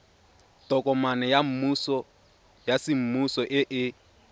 tokomane ya semmuso e e